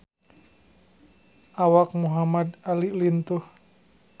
Awak Muhamad Ali lintuh